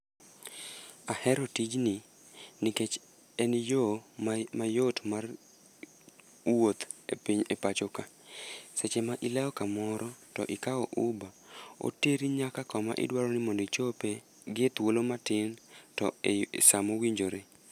Ahero tijni nikech en yo mayot mar wuoth e pacho ka. Seche ma ilewo kamoro to ikawo uba, oteri nyaka kama idwaro mondo ichope, gi e thuolo matin to e sa mowinjore.